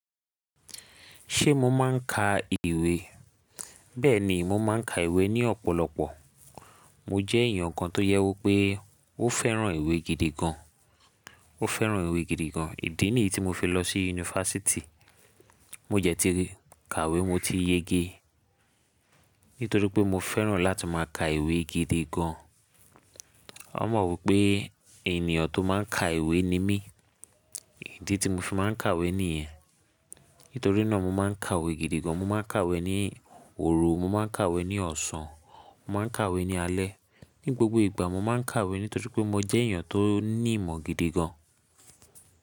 Ṣé mo máa ń ka ìwé? Bẹ́ẹ̀ ni, mo máa ń ka ìwé ní ọ̀pọ̀lọpọ̀. Mo jẹ́ èèyàn kan tó jẹ́ wi pé ó fẹ́ràn ìwé gidi gan. Ó fẹ́ràn ìwé gidi gan. Ìdí nìyí tí mo fi lọ sí unifásítì. Mo jẹ́ ti kàwé mo ti yege. Nítorí pé mo fẹ́ràn láti máa ka ìwé gidi gan. Won mọ̀ wípé ènìyàn tó máa ń ka ìwé ni mí. Ìdí tí mo fi máa ń kàwé nìyẹn. Nítorí náà mo máa ń kàwé gidi gan. Mo máa ń kàwé ní òru, mo máa ń kàwé ní ọ̀sán, mo máa ń kàwé ní alẹ́. Ni gbogbo ìgbà mo máa ń kàwé nítorí pé mo jẹ́ èèyàn tó ní ìmọ̀ gidi gan.